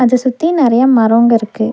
அத சுத்தி நெறைய மரோங்க இருக்கு.